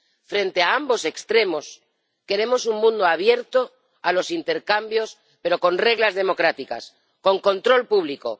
Frente a ambos extremos, queremos un mundo abierto a los intercambios, pero con reglas democráticas, con control público.